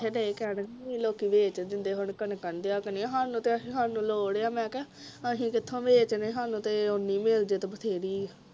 ਏਥੇ ਡਏ ਕਹਿਨ ਲੋਕੀਂ ਵੇਚ ਦਿੰਦੇ ਹੁਣ ਕਣਕਾਂ ਨਹੀਂ ਦਿਆ ਕਰਨੀਆਂ ਸਾਨੂੰ ਤੇ ਸਾਨੂੰ ਤੇ ਮੈਂ ਕਿਹਾ ਲੋੜ ਆ ਮੈਂ ਕਿਹਾ ਅਸੀਂ ਕਿਥੋਂ ਵੇਚਦੇ ਸਾਨੂੰ ਤੇ ਓਹਨੇ ਮਿਲ ਜਾਵੇ ਤੇ ਬਥੇਰੀ ਆ